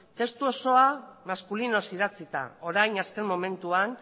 testu osoa maskulinoz idatzita orain azken momentuan